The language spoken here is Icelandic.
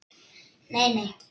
Nei, nei